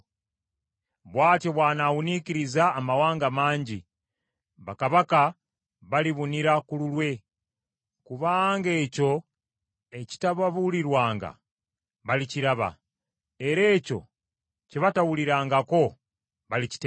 bw’atyo bw’anawuniikiriza amawanga mangi; bakabaka balibunira ku lulwe; kubanga ekyo ekitababulirwanga balikiraba, era ekyo kye batawulirangako, balikitegeera.